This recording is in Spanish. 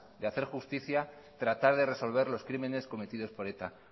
de hacer justicia tratar de resolver los crímenes cometidos por eta